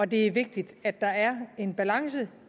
det er vigtigt at der er en balance